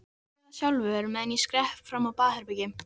Athugaðu það sjálfur, meðan ég skrepp fram á baðherbergi